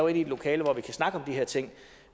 i et lokale hvor vi kan snakke om her ting